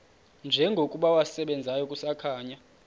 njengokuba wasebenzayo kusakhanya